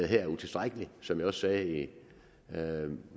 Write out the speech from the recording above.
her er utilstrækkeligt som jeg også sagde i